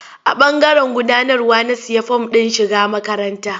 A ɓangaren gudanarwa na sayi form ɗin shiga makaranta.